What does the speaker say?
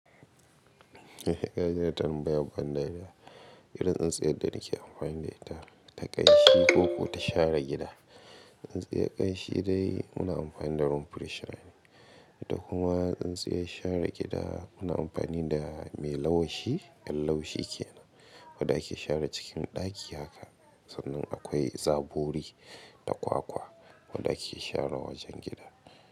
Eh, kaji wata tambaya bandari ya irin tsintsiyar da nake amfani da ita ta ƙanshi ko kuma ta share gida. Tsintsiyar ƙanshi dai muna amfani da roomfrshner nane. Da kuma tsintsiyar share gida muna amfani da mai laushi, yar laushi ke nan. Wadda ake share cikin ɗaki haka sannan akwai zabkri ta kwakwa wadda ake share wajen gida.